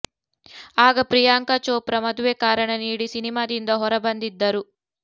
ಆಗ ಪ್ರಿಯಾಂಕಾ ಚೋಪ್ರಾ ಮದುವೆ ಕಾರಣ ನೀಡಿ ಸಿನಿಮಾದಿಂದ ಹೊರ ಬಂದಿದ್ದರು